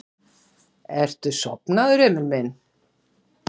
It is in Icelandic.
Ertu sofnaður, Emil minn?